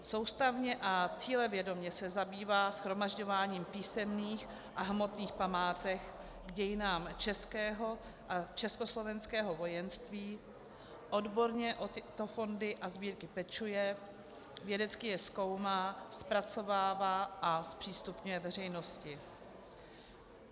Soustavně a cílevědomě se zabývá shromažďováním písemných a hmotných památek k dějinám českého a československého vojenství, odborně o tyto fondy a sbírky pečuje, vědecky je zkoumá, zpracovává a zpřístupňuje veřejnosti.